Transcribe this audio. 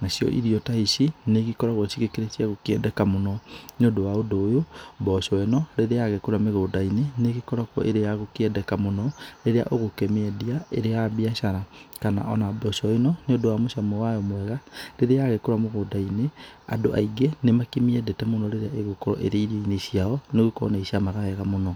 Nacio irio ta ici nĩ ikoragwo cigĩkĩrĩ cia gũkĩendeka mũno nĩ ũndũ wa ũndũ ũyũ mboco ĩno rĩrĩa yagĩkũra mĩgũnda-inĩ nĩ ĩgĩkoragwo ĩrĩ ya gũkĩendeka mũno rĩrĩa ũgũkĩmĩendia ĩrĩ ya biacara. Kana ona mboco ĩno nĩ ũndũ wa mũcamo wayo mwega, rĩrĩa yagĩkorwo mũgũnda-inĩ, andũ aingĩ nĩ makĩmĩendete mũno rĩrĩa ĩgũkorwo ĩrĩ irio-inĩ ciao nĩ gũkorwo nĩ icamaga wega mũno.